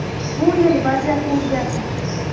Bu yil vaziyat o‘zgardi.